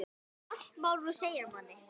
Allt má nú segja manni.